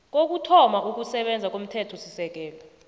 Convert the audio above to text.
kokuthoma ukusebenza komthethosisekelo